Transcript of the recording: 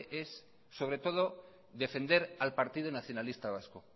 es sobre todo defender al partido nacionalista vasco